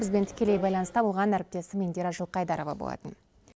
бізбен тікелей байланыста болған әріптесім индира жылқайдарова болатын